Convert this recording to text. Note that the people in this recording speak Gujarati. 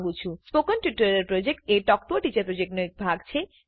સ્પોકન ટ્યુટોરીયલ પ્રોજેક્ટ એ ટોક ટુ અ ટીચર પ્રોજેક્ટનો એક ભાગ છે